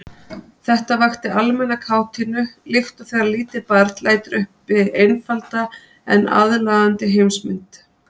Þetta vakti almenna kátínu líkt og þegar lítið barn lætur uppi einfalda en aðlaðandi heimsmynd.